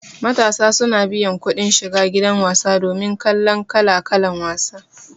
Matasa suna biyan kudin shiga gidan wasa domin kallan kala-kalan wasa